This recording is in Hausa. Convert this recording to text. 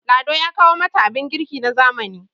lado ya kawo mata abin girki na zamani